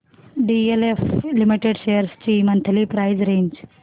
DLF limited shares ची monthly price range